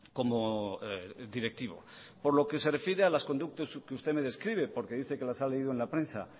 como directivo por lo que se refiere a las conductas que usted me describe porque dice que los ha leído en la prensa